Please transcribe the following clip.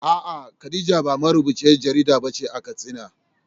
A’a, Khadija ba marubuciyar jarida ba ce a Katsina.